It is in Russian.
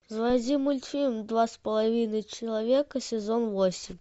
заводи мультфильм два с половиной человека сезон восемь